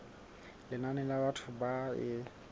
lenane la batho ba e